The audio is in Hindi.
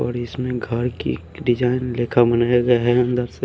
और इसमें घर की एक डिजाइन